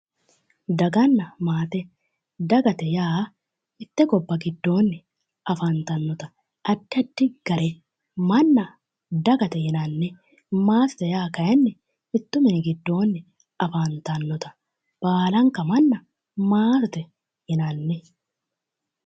daganna maate dagate yaa mitte gobba giddoonni afantannota addi addi gare manna dagate yinanni maatete yaa kayiinni mittu mini giddoonni afantannota baalanka manna maatete yinanni.